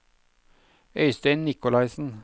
Øystein Nicolaisen